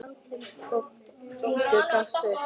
og hvítur gafst upp.